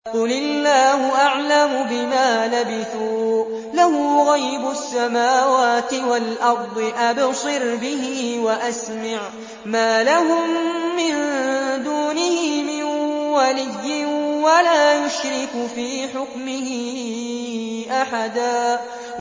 قُلِ اللَّهُ أَعْلَمُ بِمَا لَبِثُوا ۖ لَهُ غَيْبُ السَّمَاوَاتِ وَالْأَرْضِ ۖ أَبْصِرْ بِهِ وَأَسْمِعْ ۚ مَا لَهُم مِّن دُونِهِ مِن وَلِيٍّ وَلَا يُشْرِكُ فِي حُكْمِهِ أَحَدًا